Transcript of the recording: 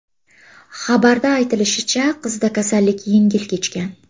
Xabarda aytilishicha, qizda kasallik yengil kechgan.